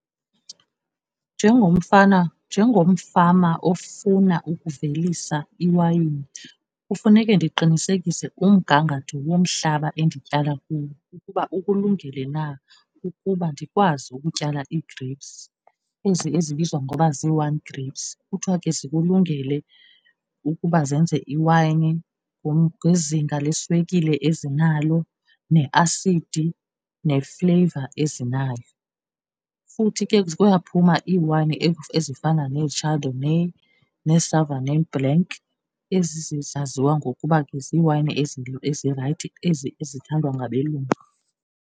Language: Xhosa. Njengomfana, njengomfama ofuna ukuvelisa iwayini kufuneke ndiqinisekise umgangatho womhlaba endityala kuwo ukuba ukulungele na ukuba ndikwazi ukutyala ii-grapes, ezi ezibizwa ngokuba zii-wine grapes. Kuthiwa ke zikulungele ukuba zenze iwayini ngezinga leswekile ezinalo neasidi nefleyiva ezinayo. Futhi ke kuyaphuma iiwayini ezifana nee-chardonnay nee-sauvignon blanc, ezaziwa ngokuba ke ziwayini ezirayithi, ezi ezithandwa ngabelungu.